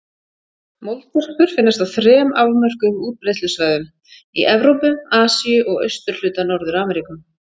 Moldvörpur finnast á þrem afmörkuðum útbreiðslusvæðum: í Evrópu, Asíu og austurhluta Norður-Ameríku.